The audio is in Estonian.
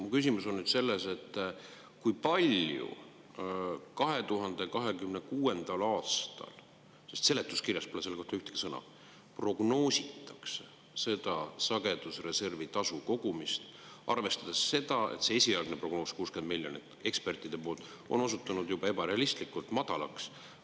Mu küsimus on nüüd selles, et kui palju 2026. aastal – sest seletuskirjas pole selle kohta ühtegi sõna – prognoositakse seda sagedusreservi tasu kogumist, arvestades seda, et see esialgne prognoos, 60 miljonit, ekspertide poolt on osutunud ebarealistlikult madalaks.